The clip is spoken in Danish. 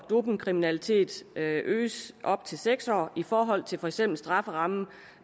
dopingkriminalitet øges op til seks år i forhold til for eksempel strafferammen